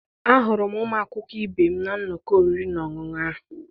Ahụrụ m ụmụ akwụkwọ ibe m na nnọkọ oriri na ọṅụṅụ ahụ.